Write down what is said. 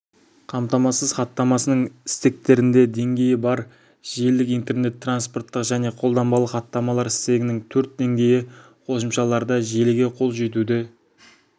қамтамасыз хаттамасының стектерінде деңгей бар желілік интернет транспорттық және қолданбалы хаттамалар стегінің төрт денгейі қосымшаларда желіге қол жетуді